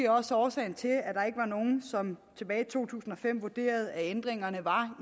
også årsagen til at nogen som tilbage i to tusind og fem vurderede at ændringerne var